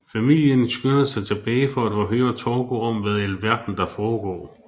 Familien skynder sig tilbage for at forhøre Torgo om hvad i alverden der foregår